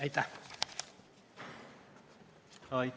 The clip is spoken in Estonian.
Aitäh!